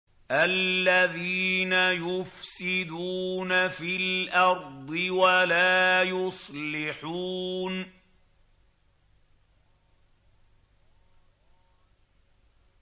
الَّذِينَ يُفْسِدُونَ فِي الْأَرْضِ وَلَا يُصْلِحُونَ